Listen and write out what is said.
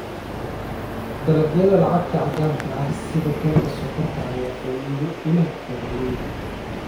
Dalagyada lacagta caddaanka ah sida galka sonkorta ayaa faa'iido u leh beeralayda.